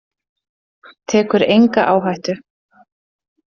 Tekur enga áhættu.